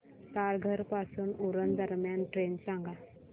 तारघर पासून उरण दरम्यान ट्रेन सांगा